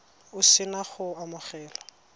o se na go amogela